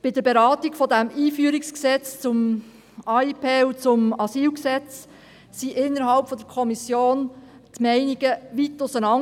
Bei der Beratung des EG AIG und AsylG gingen die Meinungen innerhalb der Kommission weit auseinander.